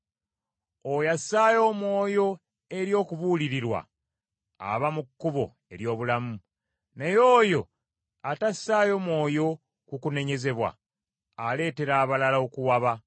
Oyo assaayo omwoyo eri okubuulirirwa aba mu kkubo ery’obulamu, naye oyo atassaayo mwoyo ku kunenyezebwa aleetera abalala okuwaba.